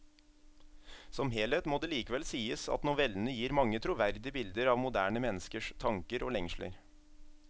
Som helhet må det likevel sies at novellene gir mange troverdige bilder av moderne menneskers tanker og lengsler.